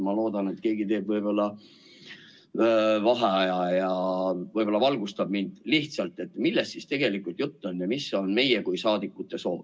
Ma loodan, et keegi võtab vaheaja ja valgustab mind lihtsalt, millest siis tegelikult jutt on ja mis on meie kui saadikute soov.